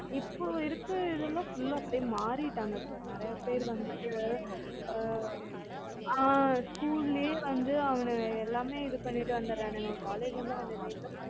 இப்ப இருக்குறதுல இருந்து அப்படியே மாறிட்டாங்க sir நெறய பேர் வந்து ஆ school லயே வந்து அவனுங்க எல்லாமே பண்ணிட்டு வந்துரனுங்க college ல வந்து